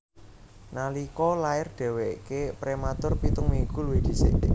Nalika lair dhèwèké prématur pitung minggu luwih dhisik